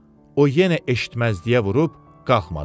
O yenə eşitməzliyə vurub qalxmadı.